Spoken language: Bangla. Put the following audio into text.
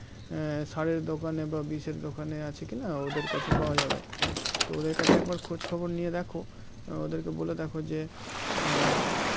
আহ সারের দোকানে বা বিষের দোকানে আছে কি না ওদের কাছে পাওয়া যাবে তো ওদের কাছে একবার খোঁজ খবর নিয়ে দেখো আহ ওদেরকে বলে দেখো যে আহ